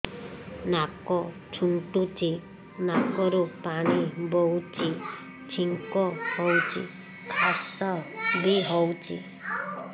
ନାକ ଚୁଣ୍ଟୁଚି ନାକରୁ ପାଣି ବହୁଛି ଛିଙ୍କ ହଉଚି ଖାସ ବି ହଉଚି